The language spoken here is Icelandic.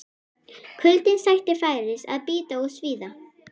Kuldinn sætti færis að bíta og svíða.